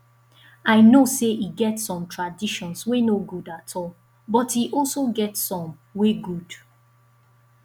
i know say e get some traditions wey no good at all but e also get some wey good